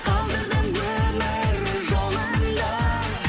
қалдырдым өмір жолында